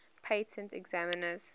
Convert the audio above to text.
patent examiners